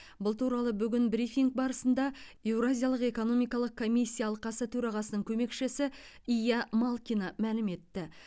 бұл туралы бүгін брифинг барысында еуразиялық экономикалық комиссия алқасы төрағасының көмекшісі ия малкина мәлім етті